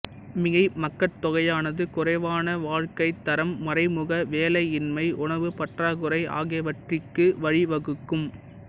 மிகை மக்கட்தொகையானது குறைவான வாழ்க்கைத் தரம் மறைமுக வேலையின்மை உணவுப் பற்றாக்குறை ஆகியவற்றிற்கு வழி வகுக்கும்